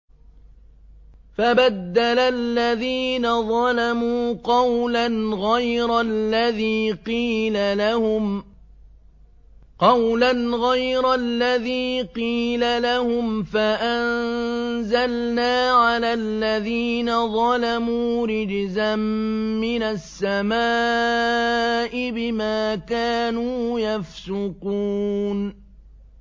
فَبَدَّلَ الَّذِينَ ظَلَمُوا قَوْلًا غَيْرَ الَّذِي قِيلَ لَهُمْ فَأَنزَلْنَا عَلَى الَّذِينَ ظَلَمُوا رِجْزًا مِّنَ السَّمَاءِ بِمَا كَانُوا يَفْسُقُونَ